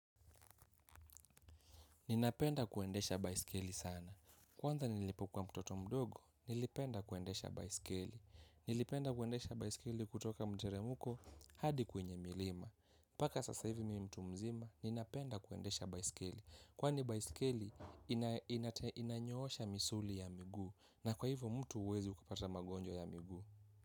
Ninapenda kuendesha baisikeli sana. Kwanza nilipokuwa mtoto mdogo, nilipenda kuendesha basikeli. Nilipenda kuendesha baisikili kutoka mteremuko hadi kwenye milima. Paka sasa hivi mtu mzima, ninapenda kuendesha baisikeli. Kwani baisikeli inanyoosha misuli ya migu na kwa hivyo mtu uwezi kupata magonjwa ya migu.